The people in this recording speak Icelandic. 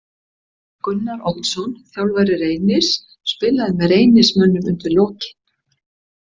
Gunnar Oddsson þjálfari Reynis spilaði með Reynismönnum undir lokin.